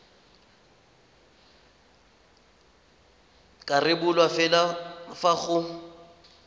ka rebolwa fela fa go